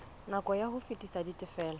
nako ya ho fetisa ditifelo